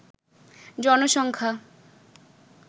জনসংখ্যা